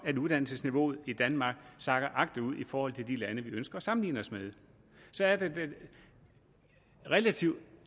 at uddannelsesniveauet i danmark sakker agterud i forhold til de lande vi ønsker at sammenligne os med så er det relativt